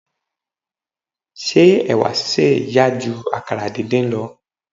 Ṣé ẹ̀wà sísè yá ju àkàrà díndín lọ.